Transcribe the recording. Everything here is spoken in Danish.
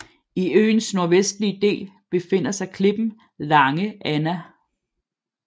I øens nordvestlige del befinder sig klippen Lange Anna